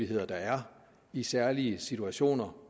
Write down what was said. der er i særlige situationer